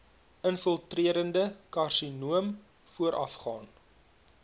infiltrerende karsinoom voorafgaan